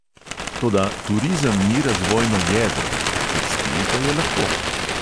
Toda turizem ni razvojno jedro, tekstil pa je lahko.